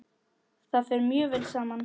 Það fer mjög vel saman.